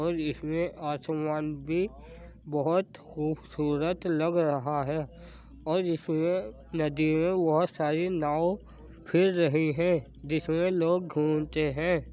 और इसमें असमान भी बहोत खुबसूरत लग रहा है और इसमें नदी में बोहत सारी नाव फिर रही हैं जिसमे लोग घूमते हैं।